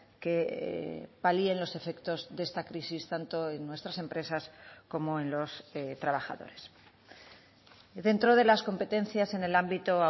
que palíen los efectos de esta crisis tanto en nuestras empresas como en los trabajadores dentro de las competencias en el ámbito